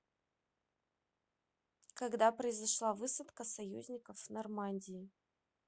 когда произошла высадка союзников в нормандии